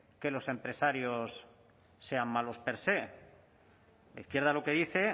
que los empresarios sean malos per sé la izquierda lo que dice